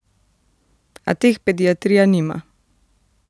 A teh pediatrija nima.